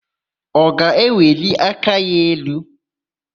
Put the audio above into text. Ọ ga-eweli aka ya elu?